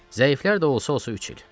Zəiflərdə də olsa-olsa üç il.